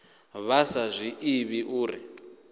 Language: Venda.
vha sa zwi ḓivhi uri